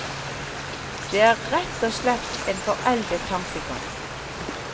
Det er rett og slett en foreldet tankegang.